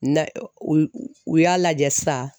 Na u y'a lajɛ san.